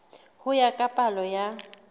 ho ya ka palo ya